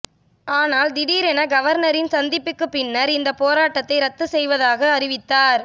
ஆனால் திடீரென கவர்னரின் சந்திப்பிற்கு பின்னர் இந்த போராட்டத்தை ரத்து செய்வதாக அறிவித்தார்